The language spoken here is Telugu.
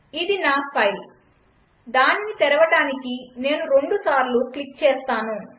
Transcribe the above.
ఇది నా ఫైల్ దానిని తెరవడానికి నేను రెండుసార్లు క్లిక్ చేస్తాను